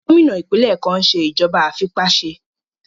Gómìnà ìpínlẹ̀ kan n ṣe ìjọba àìfipáṣe